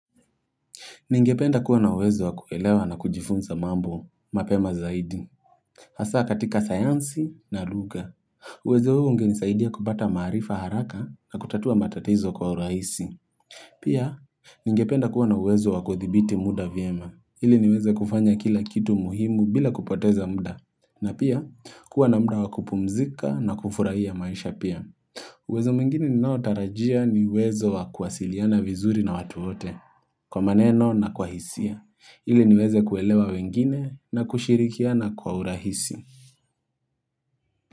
Ningependa kuwa na uwezo wakuelewa na kujifunza mambo, mapema zaidi. Hasa katika sayansi na lugha. Uwezo huo ungenisaidia kupata maarifa haraka na kutatua matatizo kwa urahisi. Pia, ningependa kuwa na uwezo wakuthibiti muda vyema. Hili niweze kufanya kila kitu muhimu bila kupoteza muda. Na pia, kuwa na muda wakupumzika na kufurahia maisha pia. Uwezo mwingine ninaotarajia ni uwezo wakuhasiliana vizuri na watu wote. Kwa maneno na kwa hisia, iliniweze kuelewa wengine na kushirikiana kwa urahisi.